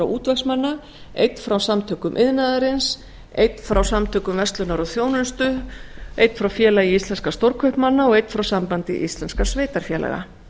útvegsmanna einn frá samtökum iðnaðarins einn frá samtökum verslunar og þjónustu einn frá félagi íslenskra stórkaupmanna og einn frá sambandi íslenskra sveitarfélaga